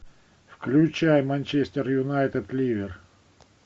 включай манчестер юнайтед ливер